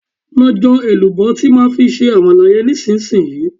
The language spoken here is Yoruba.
Lọ jọ èlùbọ́ tí máa fi ṣe Àmàlà yẹn nísinsìnyí!